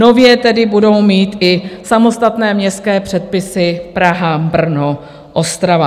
Nově tedy budou mít i samostatné městské předpisy Praha, Brno, Ostrava.